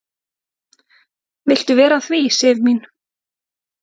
"""Viltu vera að því, Sif mín?"""